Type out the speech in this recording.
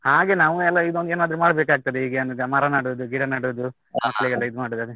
ಹಾಗೆ ನಾವು ಎಲ್ಲಾ ಇದೊಂದು ಏನಾದ್ರೂ ಮಾಡ್ಬೇಕಾಗ್ತದೆ, ಹೀಗೆ ಮರ ನೆಡುದು, ಗಿಡ ನೆಡುದು.